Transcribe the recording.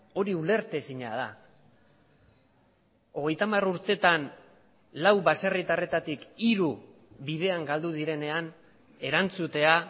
hori ulertezina da hogeita hamar urteetan lau baserritarretatik hiru bidean galdu direnean erantzutea